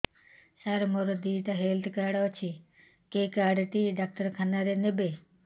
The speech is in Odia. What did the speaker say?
ସାର ମୋର ଦିଇଟା ହେଲ୍ଥ କାର୍ଡ ଅଛି କେ କାର୍ଡ ଟି ଡାକ୍ତରଖାନା ରେ ନେବେ